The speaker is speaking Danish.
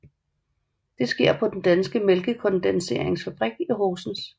Det sker på Den danske Mælkekondenseringsfabrik i Horsens